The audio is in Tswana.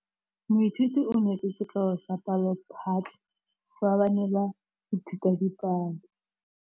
Moithuti o neetse sekaô sa palophatlo fa ba ne ba ithuta dipalo.